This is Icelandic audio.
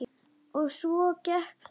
Og svona gekk þetta.